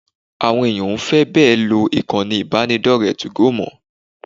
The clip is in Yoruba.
Àwọn èèyàn ò fi bẹ́ẹ̀ lo ìkànnì ìbánidọ́rẹ̀ẹ́ 2go mọ́